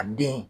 A den